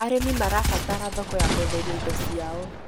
Arĩmi marabatara thoko ya kwenderia indo ciao